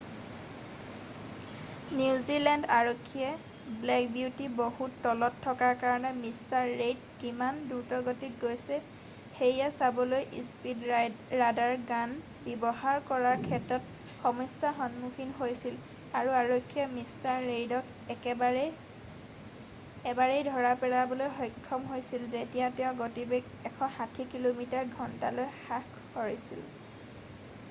New Zealand আৰক্ষীয়ে black beauty বহুত তলত থকাৰ কাৰণে মিষ্টাৰ ৰেইড কিমান দ্ৰুতগতিত গৈছে সেয়া চাবলৈ স্পীড ৰাডাৰ গান ব্যৱহাৰ কৰাৰ ক্ষেত্ৰত সমস্যাৰ সন্মুখীন হৈছিল আৰু আৰক্ষীয়ে মিষ্টাৰ ৰেইডক এবাৰেই ধৰা পেলাবলৈ সক্ষম হৈছিল যেতিয়া তেওঁ গতিবেগ ১৬০ কিমি/ঘণ্টালৈ হ্ৰাস কৰিছিল।